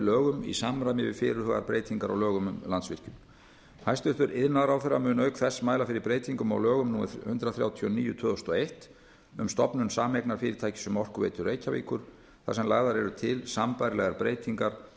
lögum í samræmi við fyrirhugaðar breytingar á lögum um landsvirkjun hæstvirtur iðnaðarráðherra mun auk þess mæla fyrir breytingu á lögum númer hundrað þrjátíu og níu tvö þúsund og eitt um stofnun sameignarfyrirtækis um orkuveitu reykjavíkur þar sem lagðar eru til sambærilegar breytingar